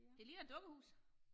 Det ligner et dukkehus